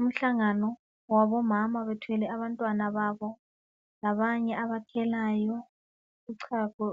Umhlangano wabomama bethwele abantwana babo labanye abathelayo uchago